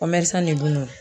ne bolo